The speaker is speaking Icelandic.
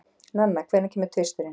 Nanna, hvenær kemur tvisturinn?